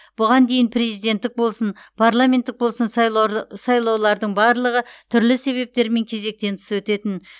бұған дейін президенттік болсын парламенттік болсын сайлаулардың барлығы түрлі себептермен кезектен тыс өтетін